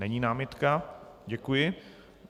Není námitka, děkuji.